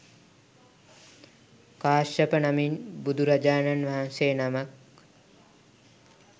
කාශ්‍යප නමින් බුදුරජාණන් වහන්සේ නමක්